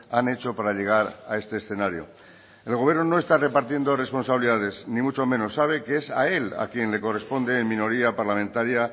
han hecho para llegar a este escenario el gobierno no está repartiendo responsabilidades ni mucho menos sabe que es a él a quien le corresponde en minoría parlamentaria